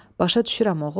Başa düşürəm oğul,